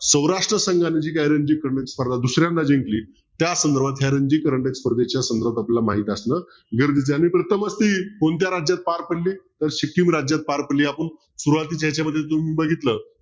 सौराष्ट्र संघ स्पर्धा दुसऱ्यांदा जिंकली त्या संदर्भात या रणजित स्पर्धेच्या आपल्याला माहित असणं गरजेचं आहे प्रथमच ती कोणत्या राज्यात पार पडली तर सिक्कीम राज्यात पार पडली आपण सुरवातीच्या याच्या मध्ये तुम्ही बघितलं